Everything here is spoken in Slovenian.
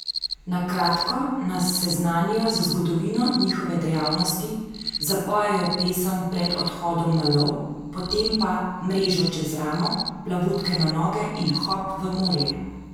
Na kratko nas seznanijo z zgodovino njihove dejavnosti, zapojejo pesem pred odhodom na lov, potem pa mrežo čez ramo, plavutke na noge in hop v morje!